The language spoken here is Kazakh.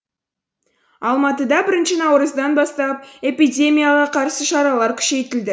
алматыда бірінші наурыздан бастап эпидемияға қарсы шаралар күшейтілді